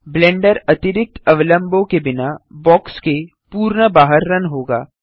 blender अतिरिक्त अवलम्बों के बिना बॉक्स के पूर्ण बाहर रन होगा